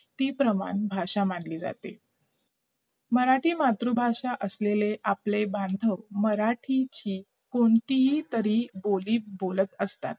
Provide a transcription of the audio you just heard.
मी प्रमाण भाषा मानली जाते मराठी मातृभाषा असलेले आपले बांधव मराठीची कोणतीही तरी बोली बोलत असतात